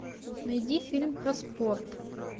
найди фильм про спорт